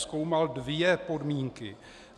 Zkoumal dvě podmínky.